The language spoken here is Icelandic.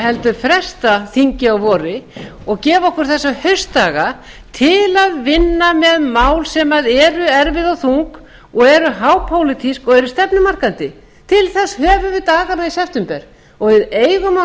heldur fresta þingi að vori og gefa okkur þessa haustdaga til að vinna með mál sem eru erfið og þung og eru hápólitísk og eru stefnumarkandi til þess höfum við dagana í september og við eigum að